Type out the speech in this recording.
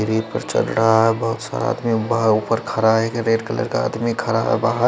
चल रहा है बहोत सारा आदमी वहाँ उपर खरा है एक रेड कलर का आदमी खरा है बाहर।